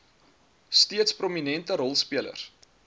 steeds prominente rolspelers